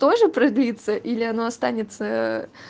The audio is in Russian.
тоже продаются или оно останется